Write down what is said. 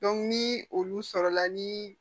ni olu sɔrɔla ni